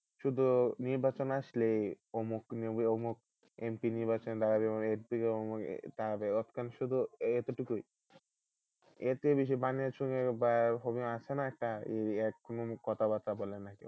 শুধু নির্বাচন আসলেই অমুক অমুক MP নির্বাচনে দাঁড়াবে শুধু এতটুকুই। এতে বানিয়াচং বা হবিগঞ্জের আছে না একটা কোন কথাবার্তা বলে না।